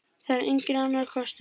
Það er enginn annar kostur.